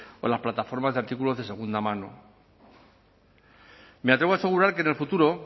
o las plataformas de artículos de segunda mano me atrevo a asegurar que en el futuro